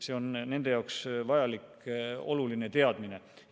See on nende jaoks vajalik oluline teadmine.